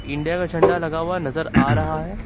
India का झंडा लगा हुआ नजर आ रहा है।